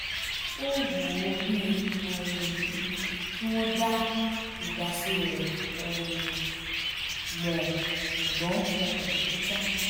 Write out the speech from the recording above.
ó wù ú bí um i kí wọ́n dá ìdásí rẹ̀ um mọ̀ ṣùgbọ́n wọn kò bìkítà